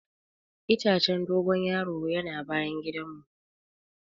Itacen dogon yaro'n yana bayan gidan mu.